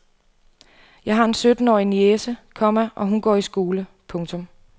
Jeg har en syttenårig niece, komma og hun går i skole. punktum